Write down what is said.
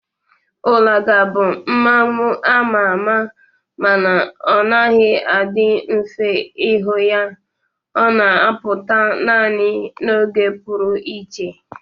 Ulaga bụ mmanwu a ma ama mana ọ naghị adị mfe ịhụ ya. Ọ na-apụta naanị n'oge pụrụ iche